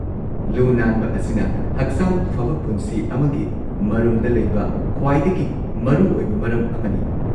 ꯂꯨ-ꯅꯥꯟꯕ ꯑꯁꯤꯅ ꯍꯛꯆꯥꯡ ꯐꯕ ꯄꯨꯟꯁꯤ ꯑꯃꯒꯤ ꯃꯔꯨꯝꯗ ꯂꯩꯕ ꯈ꯭ꯋꯥꯏꯗꯒꯤ ꯃꯔꯨꯑꯣꯏꯕ ꯃꯔꯝ ꯑꯃꯅꯤ꯫